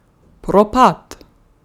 Propad!